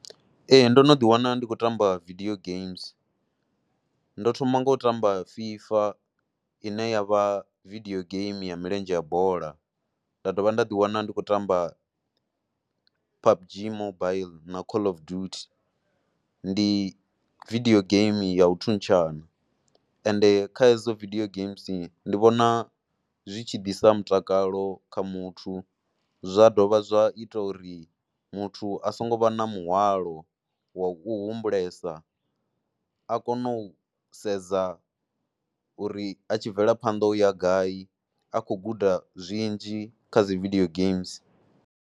Ee ndo no ḓiwana ndi khou tamba vidio games, ndo thoma ngo u tamba FIFA ine ya vha vidio game ya milenzhe ya bola. Nda dovha nda ḓiwana ndi khou tamba P_U_B_G Mobile na dzimobaiḽi na Call of Duty ndi vidio game ya u thuntshana. Ende kha hedzo vidio games ndi vhona zwi tshi ḓisa mutakalo kha muthu zwa dovha zwa ita uri muthu a songo vha na muhwalo wa u humbulesa, a kone u sedza uri a tshi mvelaphanḓa ya gai, a khou guda zwinzhi kha dzi vidio games.